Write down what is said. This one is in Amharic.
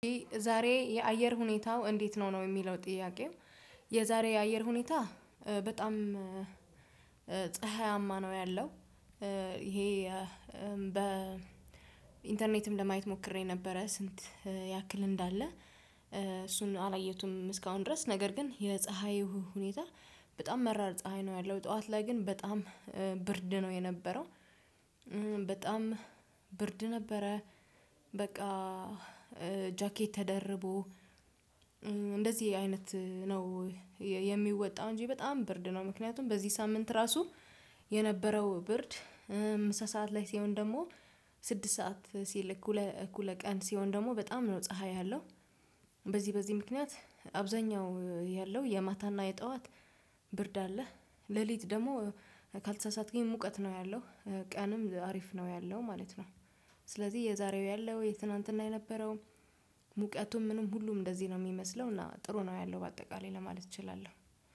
ዛሬ የአየር ሁኔታው እንዴት ነው ነው የሚለው ጥያቄው? የዛሬ የአየር ሁኔታ በጣም ፀሀይማ ነው ያለው ይሄ በኢንተርኔትም ለማየት ሞክሬ ነበረ። ስንት ያክል እንዳለ? እሱን አላየሁትም እስካሁን ድረስ ነገር ግን የፀሀይ ሁኔታ በጣም መራር ፀሀይ ነው ያለው ጠዋት ላይ ግን በጣም ብርድ ነው የነበረው። በጣም ብርድ ነበረ። በቃ ጃኬት ተደርቦ እንደዚህ አይነት ነው። የሚወጣው እንጂ በጣም ብርድ ነው ምክንያቱም በዚህ ሳምንት ራሱ የነበረው ብርድ። ምሳ ሰዓት ላይ ሲሆን ደግሞ ስድስት ሰዓት ሲል እኩለ እኩለ ቀን ሲሆን ደግሞ በጣም ነው ፀሀይ ያለው። በዚህ በዚህ ምክንያት አብዛኛው ያለው የማታና የጠዋት ብርድ አለህ ሌሊት ደግሞ ካልተሳሳትክኝ ሙቀት ነው ያለው። ቀንም አሪፍ ነው ያለው ማለት ነው። ስለዚህ የዛሬው ያለው የትናንትና የነበረው ሙቀቱም ምንም ሁሉም እንደዚህ ነው የሚመስለው እና ጥሩ ነው ያለው በአጠቃላይ ለማለት እችላለሁ።